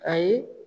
Ayi